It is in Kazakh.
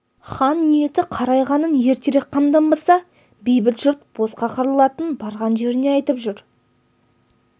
хан ниеті қарайғанын ертерек қамданбаса бейбіт жұрт босқа қырылатынын барған жеріне айтып жүр